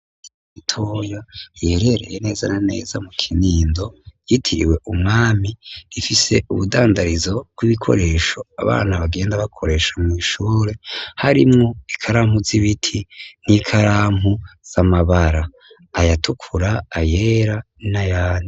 Imitoyo iherereye neza na neza mu kinindo yitiriwe umwami ifise ubudandarizo bw'ibikoresho abana bagenda bakoresha mw'ishure harimwo ikalampu z'ibiti n'ikarampu z'amabara ayatukura ayera na yani.